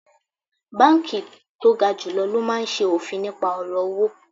Banki to ga julo lo maa n se ofin nipa oro owo